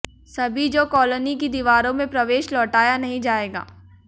सभी जो कॉलोनी की दीवारों में प्रवेश लौटाया नहीं जाएगा